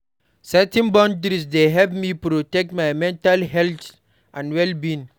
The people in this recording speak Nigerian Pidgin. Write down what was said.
Setting boundaries dey help me protect my mental health and well-being.